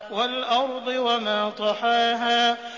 وَالْأَرْضِ وَمَا طَحَاهَا